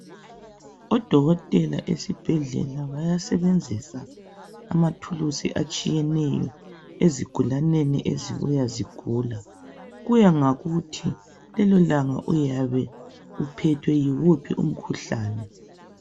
Odokotela esibhedlela bayasebenzisa amathuluzi atshiyeneyo ezigulaneni ezibuya zigula kuya ngokuthi lelo langa uyabe uphethwe yiwuphi umkhuhlane.